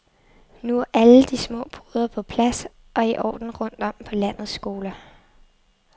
Nu er alle de små poder på plads og i orden rundt om på landets skoler.